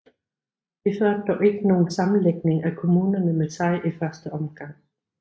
Det førte dog ikke nogen sammenlægning af kommunerne med sig i første omgang